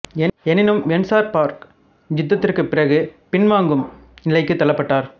எனினும் வெசன்பர்க் யுத்தத்திற்குப் பிறகு பின் வாங்கும் நிலைக்கு தள்ளப்பட்டார்